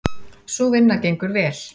Sú vinna gengur vel.